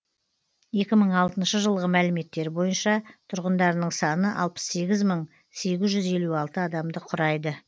екі мың алтыншы жылғы мәліметтер бойынша тұрғындарының саны алпыс сегіз мың сегіз жүз елу алты адамды құрайды